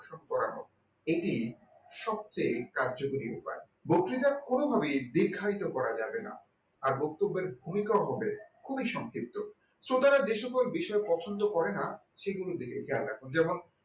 করা হোক এটি সবচেয়ে কার্যকরী উপায়, বক্তৃতা কোনোভাবে দীর্ঘায়িত করা যাবে না আর বক্তব্যের ভূমিকা হবে খুবই সংক্ষিপ্ত শ্রোতারা যে সকল বিষয়ে পছন্দ করে না। সেগুলির দিকে খেয়াল রাখুন যেমন